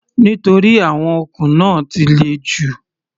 Nítorí àwọn okùn náà ti le jù.